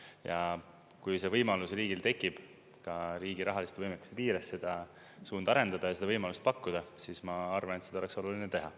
Ja kui see võimalus riigil tekib ka riigi rahaliste võimaluste piires seda suunda arendada ja seda võimalust pakkuda, siis ma arvan, et seda oleks oluline teha.